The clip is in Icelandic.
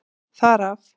Þar af.